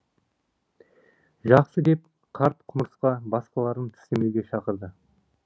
жақсы деп қарт құмырсқа басқаларын тістемеуге шақырды